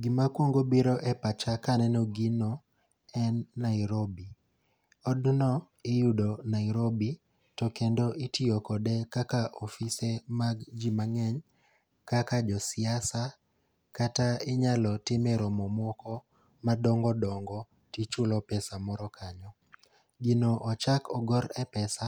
Gima kwongo biro e pacha kaneno gino en Nairobi, odno iyudo Nairobi. To kendo itiyo kode kaka ofise mag ji mang'eny, kaka jo siasa. Kata inyalo time romo moko ma dongo dongo tichulo pesa moro kanyo. Gino ochak ogor e pesa